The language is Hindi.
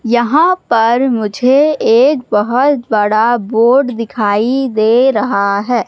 यहां पर मुझे एक बहोत बड़ा बोर्ड दिखाई दे रहा है।